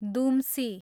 दुम्सी